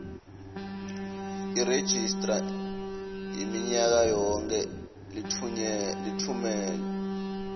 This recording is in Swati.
leregistrar minyakayonkhe litfumela